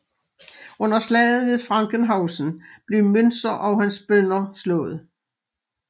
Under slaget ved Frankenhausen blev Müntzer og hans bønder slået